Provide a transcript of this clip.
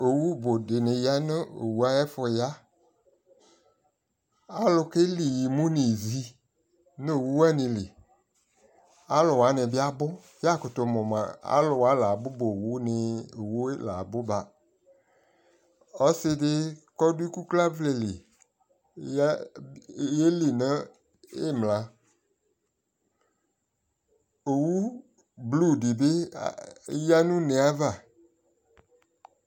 Owu bu di ya nu owu ayɛ fu yaAlu kɛli imu nizi nu owu wani liAlu wani bi abuYakutu mu ma alu wa labu ba owu ni owu labu ba Ɔsi di kɔ du iku klavɛ li, yɛli nu imlaOwu blu di bi ya nu ne ava